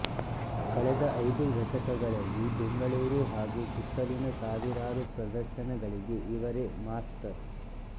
ಕಳೆದ ಐದು ದಶಕಗಳಲ್ಲಿ ಬೆಂಗಳೂರು ಹಾಗೂ ಸುತ್ತಲಿನ ಸಾವಿರಾರು ಪ್ರದರ್ಶನಗಳಿಗೆ ಇವರೇ ಮಾಸ್ತರ್